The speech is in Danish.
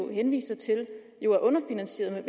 henviste til er underfinansieret med